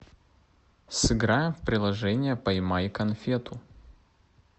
сыграем в приложение поймай конфету